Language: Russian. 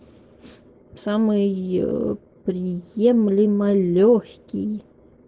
самый приемлемо лёгкий